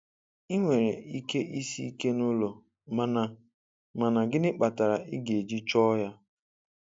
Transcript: I nwere ike isi ike n'ụlọ mana mana gịnị kpatara ị ga-eji chọọ ya?